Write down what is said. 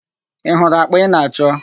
I hụrụ àkpà ị na-achọ?